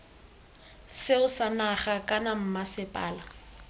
seo sa naga kana mmasepala